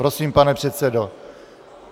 Prosím, pane předsedo.